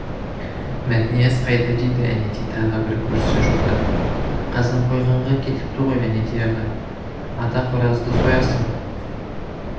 мәтнияз қайда дейді әнетей тағы бір көршісін жоқтап қазанқойғанға кетіпті ғой әнетей аға ата қоразды соясың